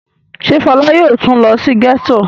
Ṣé Fọlá yóò tún lọ sí gẹ́tò?